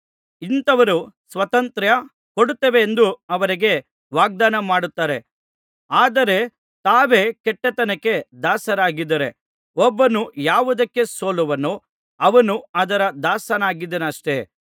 ಇಂಥವರು ಸ್ವಾತಂತ್ರ್ಯ ಕೊಡುತ್ತೇವೆಂದು ಅವರಿಗೆ ವಾಗ್ದಾನಮಾಡುತ್ತಾರೆ ಆದರೆ ತಾವೇ ಕೆಟ್ಟತನಕ್ಕೆ ದಾಸರಾಗಿದ್ದಾರೆ ಒಬ್ಬನು ಯಾವುದಕ್ಕೆ ಸೋಲುವನೋ ಅವನು ಅದರ ದಾಸನಾಗಿದ್ದಾನಷ್ಟೇ